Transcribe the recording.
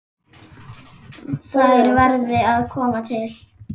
Þær verði að koma til.